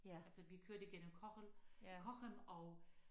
Altså vi kørte igennem Cochem Cochem og